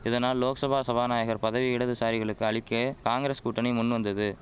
இதனால் லோக்சபா சபாநாயகர் பதவியை இடதுசாரிகளுக்கு அளிக்க காங்கிரஸ் கூட்டணி முன்வந்தது